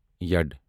یڈ